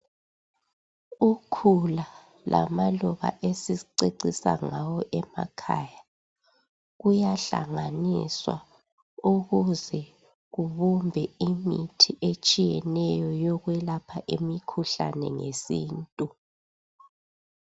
Ukhula lamaluba esicecisa ngawo emakhaya kuyahlanganiswa ukuze kubumbe imithi etshiyeneyo yokwelapha imikhuhlane ngesintu.